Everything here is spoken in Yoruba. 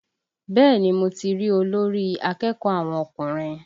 Bẹ́ẹ̀ni mo ti rí olórí akẹ́kọ̀ọ́ àwọn ọkùnrin